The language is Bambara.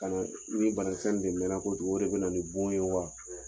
Kana ni banakisɛ nin de mɛnna kojugu de bɛ na nin bon ye wa?